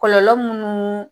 Kɔlɔlɔ minnu